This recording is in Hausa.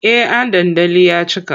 Eh an dandali ya cika.